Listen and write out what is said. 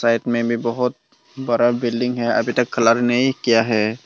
Side में भी बहुत बड़ा बिल्डिंग है अभी तक कलर नहीं किया है।